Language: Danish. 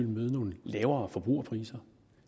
møde nogle lavere priser